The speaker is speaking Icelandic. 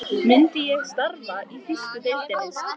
Myndi ég starfa í þýsku deildinni?